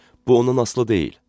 Bu ondan asılı deyil.